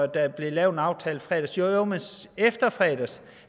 der blev lavet en aftale i fredags jo men efter i fredags